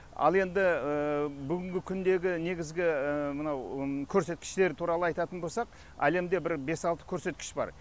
ал енді бүгінгі күндегі негізгі мынау көрсеткіштер туралы айтатын болсақ әлемде бір бес алты көрсеткіш бар